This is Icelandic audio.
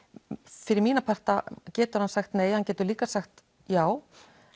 fyrir mína parta getur hann sagt nei hann getur líka sagt já